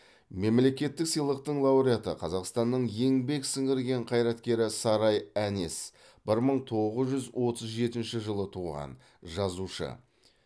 мемлекеттік сыйлықтың лауреаты қазақстанның еңбек сіңірген қайраткері сарай әнес бір мың тоғыз жүз отыз жетінші жылы туған жазушы